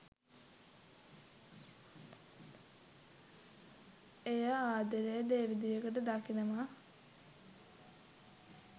එයා ආදරය දෙවිදියකට දකිනවා